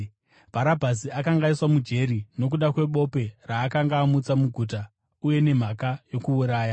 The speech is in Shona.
(Bharabhasi akanga aiswa mujeri nokuda kwebope raakanga amutsa muguta, uye nemhaka yokuuraya.)